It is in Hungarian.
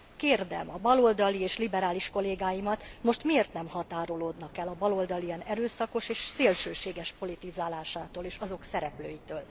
Kérdem a baloldali és liberális kollégáimat, most miért nem határolódnak el a baloldal ilyen erőszakos és szélsőséges politizálásától és azok szereplőitől.